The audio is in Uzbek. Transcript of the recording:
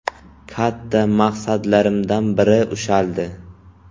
Katta maqsadlarimdan biri ushaldi.